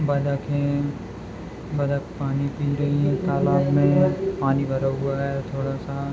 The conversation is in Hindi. बतक हैं बतक पानी पी रही हैं तालाब में पानी भरा हुआ है थोड़ा सा।